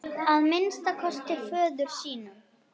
Að minnsta kosti föður sínum.